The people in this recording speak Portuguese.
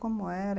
Como era?